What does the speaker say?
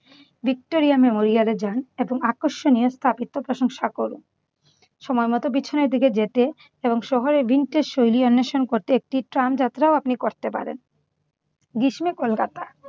Victoria মেমোরিয়ালে যান এবং আকর্ষণীয় স্থাপত্যের প্রশংসা করুন। সময়মত পেছনের দিক যেতে এবং শহরের vintage শৈলী অন্বেষণ করতে একটি ট্রাম যাত্রাও আপনি করতে পারেন। গ্রীষ্মে কলকাতা।